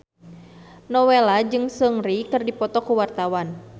Nowela jeung Seungri keur dipoto ku wartawan